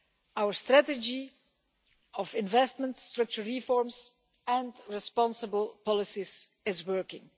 Our strategy of investment, structural reforms and responsible policies is working.